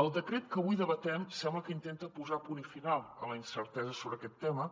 el decret que avui debatem sembla que intenta posar punt final a la incertesa sobre aquest tema